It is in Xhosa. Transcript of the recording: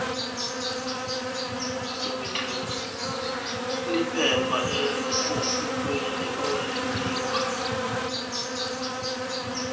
liphepha elisesikweni olinikwa